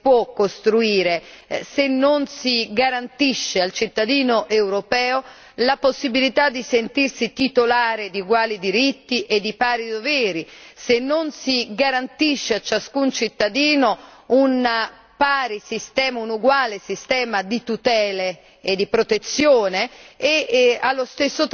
Tuttavia è evidente che non si può costruire un'unione politica se non si garantisce al cittadino europeo la possibilità di sentirsi titolare di uguali diritti e di pari doveri, se non si garantisce a ciascun cittadino un uguale sistema di tutele